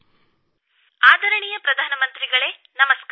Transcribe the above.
phone ಆದರಣೀಯ ಪ್ರಧಾನಮಂತ್ರಿಗಳೇ ನಮಸ್ಕಾರ